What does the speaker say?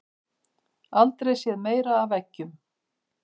Aldrei séð meira af eggjum